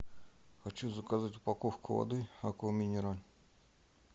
хочу заказать упаковку воды аква минерале